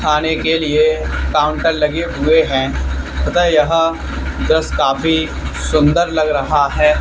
खाने के लिए काउंटर लगे हुए हैं तथा यह व्यवस्थ काफी सुंदर लग रहा है।